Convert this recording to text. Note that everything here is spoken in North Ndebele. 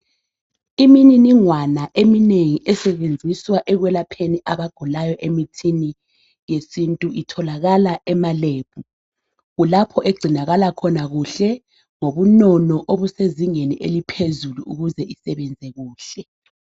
Imininingwane eminengi esebenziswa ekwelapheni abagulayo emithini yesintu itholakala ema lab kulapho egcinakala khona kuhle ngobunono obisezingeni eliphezulu ukuze isebenze kuhle